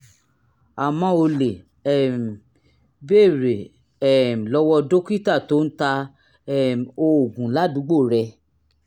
àmọ́ o lè um béèrè um lọ́wọ́ dókítà tó ń ta um oògùn ládùúgbò rẹ